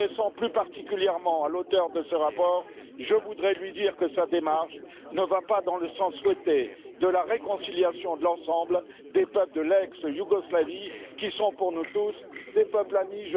M'adressant plus particulièrement à l'auteur de ce rapport, je voudrais lui dire que sa démarche ne va pas dans le sens souhaité de la réconciliation de l'ensemble des peuples de l'ex Yougoslavie, qui sont pour nous tous des peuples amis.